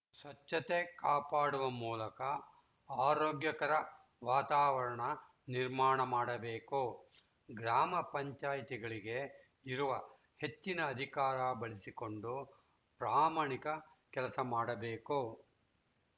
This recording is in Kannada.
ಸ್ವಚ್ಛತೆ ಕಾಪಾಡುವ ಮೂಲಕ ಆರೋಗ್ಯಕರ ವಾತಾವರಣ ನಿರ್ಮಾಣ ಮಾಡಬೇಕು ಗ್ರಾಮ ಪಂಚಾಯ್ತಿಗಳಿಗೆ ಇರುವ ಹೆಚ್ಚಿನ ಅಧಿಕಾರ ಬಳಸಿಕೊಂಡು ಪ್ರಾಮಾಣಿಕ ಕೆಲಸ ಮಾಡಬೇಕು